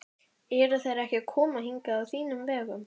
Eru þeir ekki að koma hingað á þínum vegum?